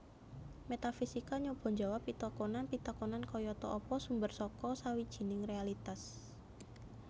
Métafisika nyoba njawab pitakonan pitakonan kayata Apa sumber saka sawijining réalitas